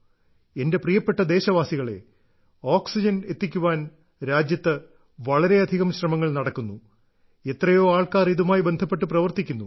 എന്റെ പ്രിയപ്പെട്ട ദേശവാസികളെ ഓക്സിജൻ എത്തിക്കാൻ രാജ്യത്ത് വളരെയധികം ശ്രമങ്ങൾ നടക്കുന്നു എത്രയോ ആൾക്കാർ ഇതുമായി ബന്ധപ്പെട്ട് പ്രവർത്തിക്കുന്നു